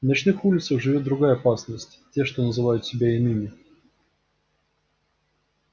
на ночных улицах живёт другая опасность те что называют себя иными